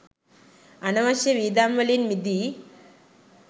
අනවශ්‍ය වියදම් වලින් මිදී